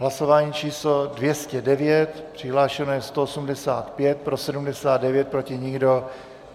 Hlasování číslo 209, přihlášeno je 185, pro 79, proti nikdo.